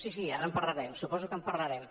sí sí ara en parlarem suposo que en parlarem